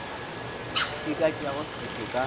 e ka tšeago sephetho ka